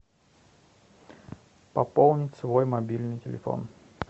пополнить свой мобильный телефон